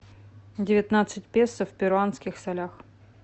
девятнадцать песо в перуанских солях